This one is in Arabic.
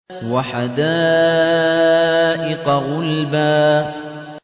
وَحَدَائِقَ غُلْبًا